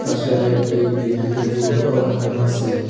পাশে আরও একটি বিদ্যুতের বোর্ডও লাগানো আসে।